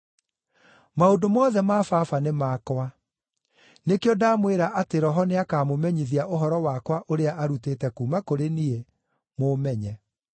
Maũndũ mothe ma Baba nĩ makwa. Nĩkĩo ndamwĩra atĩ Roho nĩakamũmenyithia ũhoro wakwa ũrĩa arutĩte kuuma kũrĩ niĩ, mũũmenye.